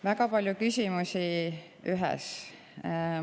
Väga palju küsimusi ühes küsimuses.